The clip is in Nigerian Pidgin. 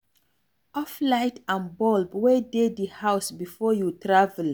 Off light and bulb wey dey di house before you travel